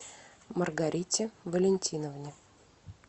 маргарите валентиновне